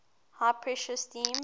high pressure steam